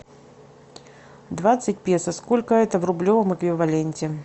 двадцать песо сколько это в рублевом эквиваленте